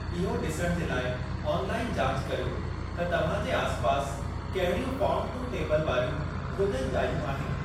इहो डि॒सणु जे लाइ ऑनलाइन जाच करियो त तव्हांजे आसिपासि कहिड़ियूं फार्म-टू-टेबल वारियूं भोज॒न-जायूं आहिनि।